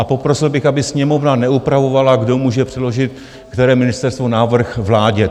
A poprosil bych, aby Sněmovna neupravovala, kdo může předložit, které ministerstvo, návrh vládě.